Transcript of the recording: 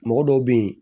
Mɔgɔ dɔw be yen